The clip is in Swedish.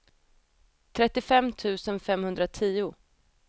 trettiofem tusen femhundratio